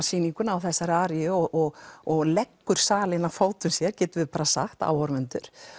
sýningu með þessari aríu og og leggur salinn að fótum sér getum við bara sagt áhorfendur